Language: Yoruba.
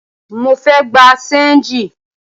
Mo fẹ́ gbà ṣéńjì